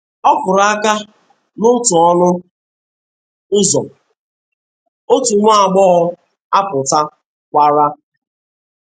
Ọ kụrụ aka n’otu ọnụ ụzọ, otu nwa agbọghọ apụta kwara.